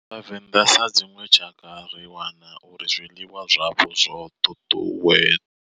Vhavenda sa dzinwe tshakha ri wana uri zwiḽiwa zwavho zwo tutuwe.